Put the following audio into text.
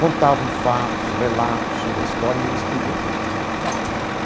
contavam fatos, relatos sobre a história e eu escrevia tudo né.